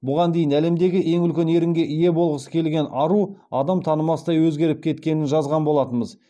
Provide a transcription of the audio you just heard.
бұған дейін әлемдегі ең үлкен ерінге ие болғысы келген ару адам танымастай өзгеріп кеткенін жазған болатынбыз